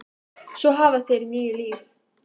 Svo hafa þeir níu líf.